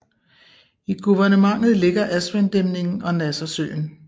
I guvernementet ligger Aswandæmningen og Nassersøen